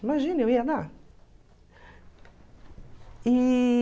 Imagina, eu ia lá. E...